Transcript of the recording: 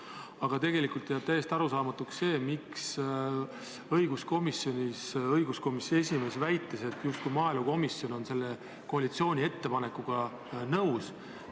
Aga tegelikult jääb täiesti arusaamatuks, miks õiguskomisjoni esimees väitis õiguskomisjonis, justkui oleks maaelukomisjon selle koalitsiooni ettepanekuga nõus.